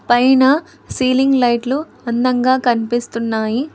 పైన సీలింగ్ లైట్లు అందంగా కనిపిస్తున్నాయి.